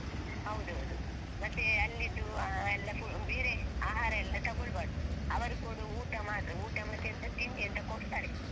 ಹೌದೌದು ಮತ್ತೆ ಅಲ್ಲಿದ್ದು ಆ ಎಲ್ಲ ಬೇರೆ ಆಹಾರ ಎಲ್ಲ ತಗೋಳ್ಬಾರ್ದು ಅವರು ಕೊಡುವ ಊಟ ಮಾತ್ರ ಊಟ ಮತ್ತೆ ಎಂತ ತಿಂಡಿ ಎಂತ ಕೊಡ್ತಾರೆ.